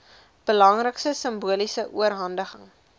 belangrike simboliese oorhandiging